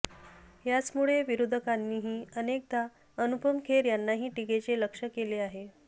याचमुळे विरोधकांनीही अनेकदा अनुपम खेर यांनाही टीकेचे लक्ष्य केले आहे